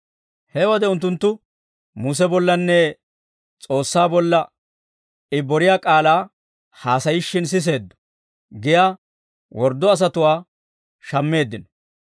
He wode unttunttu, «Muse bollanne S'oossaa bolla I boriyaa k'aalaa haasayishshin siseeddo» giyaa worddo asatuwaa shammeeddino.